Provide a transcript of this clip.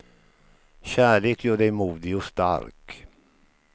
Kärlek gör dig modig och stark.